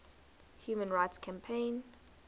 human rights campaign